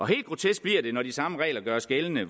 helt grotesk bliver det når de samme regler gøres gældende